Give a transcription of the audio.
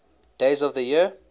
days of the year